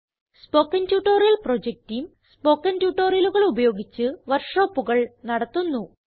spoken tutorial project team spoken ട്യൂട്ടോറിയലുകൾ ഉപയോഗിച്ച് work ഷോപ്പുകൾ നടത്തുന്നു